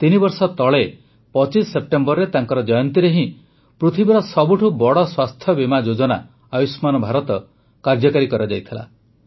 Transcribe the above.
ତିନିବର୍ଷ ତଳେ ୨୫ ସେପ୍ଟେମ୍ବରରେ ତାଙ୍କର ଜୟନ୍ତୀରେ ହିଁ ପୃଥିବୀର ସବୁଠୁ ବଡ଼ ସ୍ୱାସ୍ଥ୍ୟବୀମା ଯୋଜନା ଆୟୁଷ୍ମାନ ଭାରତ କାର୍ଯ୍ୟକାରୀ କରାଯାଇଥିଲା